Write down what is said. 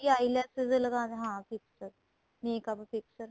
eyes lens ਲਗਾਣ ਹਾਂ fixed makeup fixed